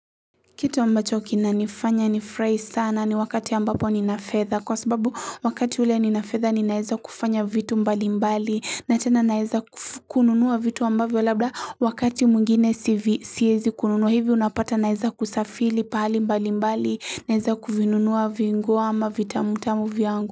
Kitu ambacho kinanifanya nifurahi sana ni wakati ambapo nina fedha kwa sababu wakati ule ninafedha ninaeza kufanya vitu mbali mbali na tena naeza kununuwa vitu ambavyo labda wakati mwingine siezi kununuwa hivi unapata naeza kusafili pahali mbali mbali naeza kuvinunuwa vinguo ama vitamutamu viangu.